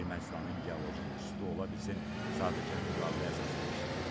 Ermənistanın geoloji institutu ola bilsin sadəcə müqavilə əsasında işləyirdi.